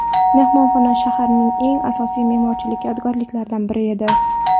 Mehmonxona shaharning eng asosiy me’morchilik yodgorliklaridan biri edi.